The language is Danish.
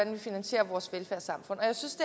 vi finansierer vores velfærdssamfund og jeg synes